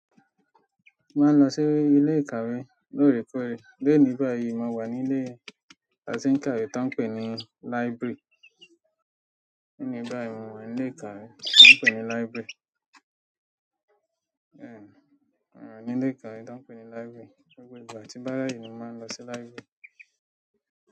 Máa ń lọ sí ilé ìkàwé lóòrèkóòrè. Lónì báyìí, mo wà nílé ìkàwé tó ń pè ní library. Nígbà tí mo wà nílé ìkàwé tó ń pè ní library, gbogbo ìgbà tí bá ráyè mo máa ń lọ sí library.